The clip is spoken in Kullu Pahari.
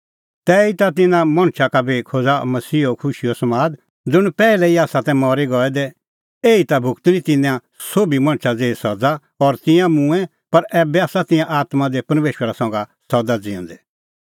तैही ता तिन्नां मणछा का बी खोज़अ मसीहा खुशीओ समाद ज़ुंण पैहलै ई आसा तै मरी गऐ दै एही ता भुगती तिन्नैं सोभी मणछा ज़ेही सज़ा और तिंयां मूंऐं पर ऐबै आसा तिंयां आत्मां दी परमेशरा संघै सदा ज़िऊंदै